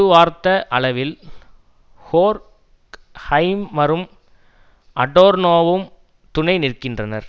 வார்த்த அளவில் ஹோர்க் ஹைமரும் அடோர்னோவும் துணை நிற்கின்றனர்